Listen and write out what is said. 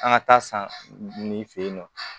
An ka taa san nin fɛ yen nɔ